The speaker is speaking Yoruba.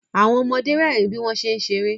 Àwọn ọmọde rẹ́rìn bí wọ́n ṣé ń ṣeré